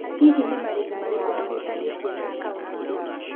Hihi nĩ marĩhi marĩkũ mahutanĩtie na akaũnti ĩno.